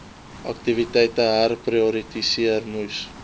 aktiwiteite herprioritiseer moes